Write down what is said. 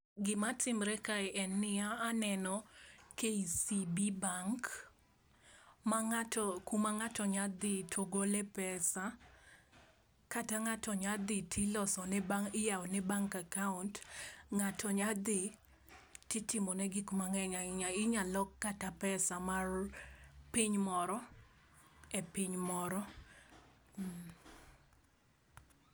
Gima timre kaa en ni aneno KCB bank ma ng'ato kuma ng'ato nya dhi to gole pesa kata ng'ato nyadhi tiloso ne tiyawo ne bank akaunt. Ng'ato nya dhi titimo ne gik mang'eny ahinya, inya lok kata pesa mar piny moro e piny moro pause